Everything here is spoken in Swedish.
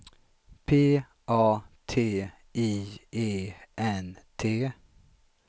P A T I E N T